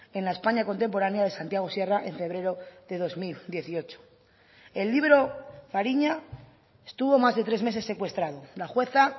en la españa contemporánea de santiago sierra en febrero de dos mil dieciocho el libro fariña estuvo más de tres meses secuestrado la jueza